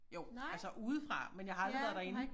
Jo altså udefra men jeg har aldrig været derinde